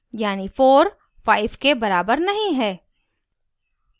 यानी 4 5 के बराबर नहीं है